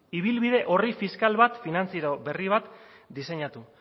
ibilbide orri fiskal bat finantzaero berri bat diseinatu